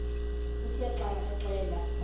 uthe xa axela